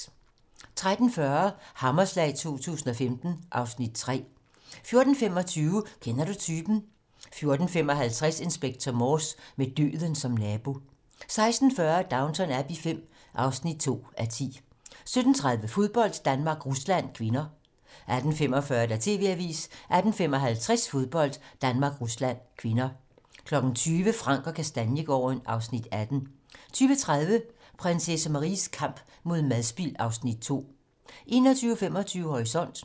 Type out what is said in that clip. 13:40: Hammerslag 2015 (Afs. 3) 14:25: Kender du typen? 14:55: Inspector Morse: Med døden som nabo 16:40: Downton Abbey V (2:10) 17:30: Fodbold: Danmark-Rusland (k) 18:45: TV-Avisen 18:55: Fodbold: Danmark-Rusland (k) 20:00: Frank & Kastaniegaarden (Afs. 18) 20:30: Prinsesse Maries kamp mod madspild (Afs. 2) 21:25: Horisont